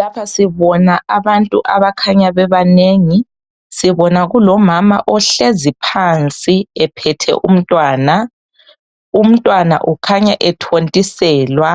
Lapha sibona abantu abakhanya bebanengi sibona kulomama ohlezi phansi ephethe umntwana umntwana ukhanya ethontiselwa